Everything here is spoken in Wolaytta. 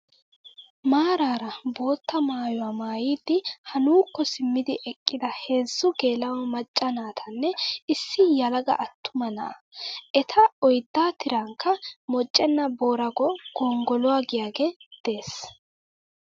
Maaraara botta maayyuwaa maayyidi haa nuukko simmidi eqqida heezzu geela''o macca naatanne issi yelaga attuma na'aa. Eta oyiddaa tirankka moochchenaa boorago gonggoluwaa giyaagee des.